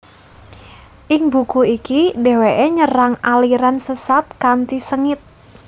Ing buku iki dheweke nyerang aliran sesat kanthi sengit